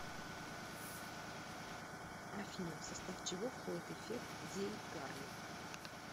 афина в состав чего входит эффект зейгарник